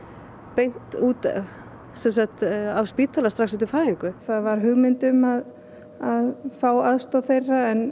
beint af spítala strax eftir fæðingu það var hugmynd um að fá aðstoð þeirra en